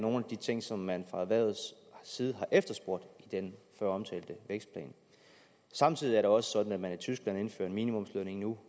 nogle af de ting som man fra erhvervets side har efterspurgt i den føromtalte vækstplan samtidig er det også sådan at man i tyskland indfører en minimumslønning nu